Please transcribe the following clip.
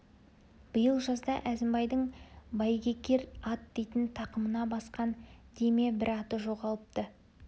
биыл жазда әзімбайдың бәйгекер ат дейтін тақымына басқан дей ме бір аты жоғалыпты